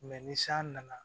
ni san nana